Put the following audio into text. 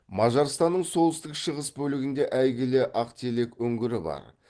мажарстанның солтүстік шығыс бөлігінде әйгілі ақтелек үңгірі бар